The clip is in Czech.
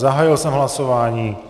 Zahájil jsem hlasování.